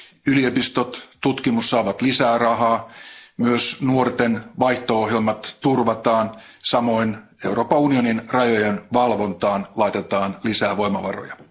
Yliopistot ja tutkimus saavat lisää rahaa, myös nuorten vaihto ohjelmat turvataan, samoin Euroopan unionin rajojen valvontaan laitetaan lisää voimavaroja.